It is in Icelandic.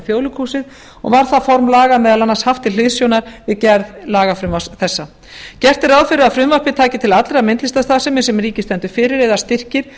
þjóðleikhúsið og var það form laga meðal annars haft til hliðsjónar við gerð lagafrumvarps þessa gert er ráð fyrir að frumvarpið taki til allrar myndlistarstarfsemi sem ríkið stendur fyrir eða styrkir